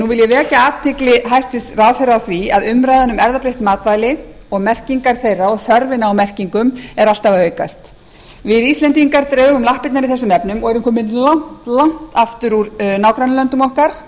nú vil ég vekja athygli hæstvirtur ráðherra á því að umræðan um erfðabreytt matvæli og merkingar þeirra og þörfina á merkingum er alltaf að aukast við íslendingar drögum lappirnar í þessum efnum og erum komin langt langt aftur úr nágrannalöndum okkar